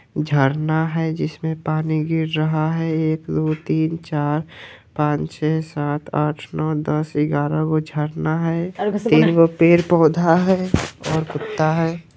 झरना है जिसमें पानी गिर रहा है| एक दो तीन चार पांच छह सात आठ नौ दस ग्यारह गो झरना है तीनगो पेड़-पौधा है और कुत्ता है।